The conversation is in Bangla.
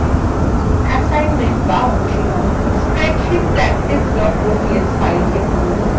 assignment বা অনুশীলনী spreadsheet practice ods file খুলুন